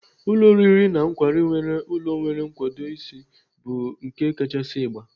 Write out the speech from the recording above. Ụlọ oriri na nkwari nwere ụlọ nwere nkwado ise bụ nke kachasị ịgba.